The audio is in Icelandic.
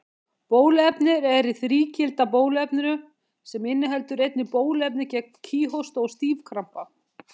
Bóluefnið er í þrígilda bóluefninu, sem inniheldur einnig bóluefni gegn kíghósta og stífkrampa.